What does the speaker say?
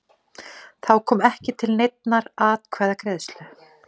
Þá kom ekki til neinnar atkvæðagreiðslu